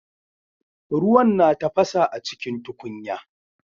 Ruwan na tafasa acikin tukunya